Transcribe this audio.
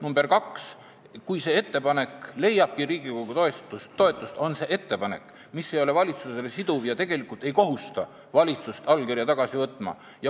Teiseks, kui see ettepanek leiabki Riigikogu toetust, ei ole see valitsusele siduv ja tegelikult ei kohusta valitsust allkirja tagasi võtma.